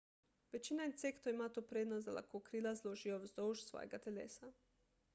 večina insektov ima to prednost da lahko krila zložijo vzdolž svojega telesa